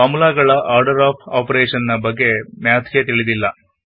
formula ಗಳ order of operation ನ ಬಗ್ಗೆ ಮ್ಯಾಥ್ ಗೆ ತಿಳಿದಿಲ್ಲ